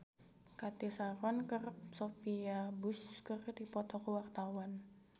Cathy Sharon jeung Sophia Bush keur dipoto ku wartawan